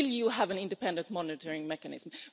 Will you have an independent monitoring mechanism?